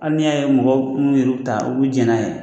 Ali' n'i y'a ye mɔgɔw be kuluw yɛrɛw ta u be jɛ n'a ye